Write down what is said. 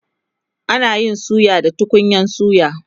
ana Yi suya da tukunyan suya